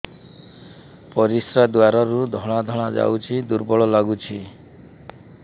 ପରିଶ୍ରା ଦ୍ୱାର ରୁ ଧଳା ଧଳା ଯାଉଚି ଦୁର୍ବଳ ଲାଗୁଚି